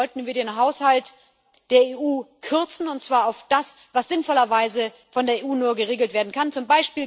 Deshalb sollten wir den Haushalt der EU kürzen, und zwar auf das, was sinnvollerweise nur von der EU geregelt werden kann z.